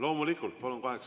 Loomulikult, palun!